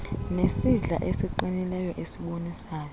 nesandla esiqinileyo esibonisayo